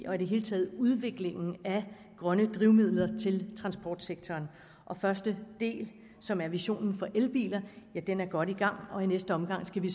og i det hele taget udviklingen af grønne drivmidler til transportsektoren første del som er visionen for elbiler er godt i gang og i næste omgang skal vi